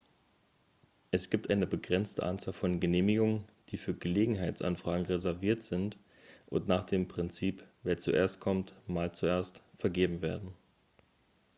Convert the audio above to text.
es gibt eine begrenzte anzahl von genehmigungen die für gelegenheitsanfragen reserviert sind und nach dem prinzip wer zuerst kommt mahlt zuerst vergeben werden